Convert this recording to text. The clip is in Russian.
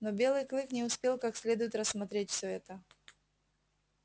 но белый клык не успел как следует рассмотреть всё это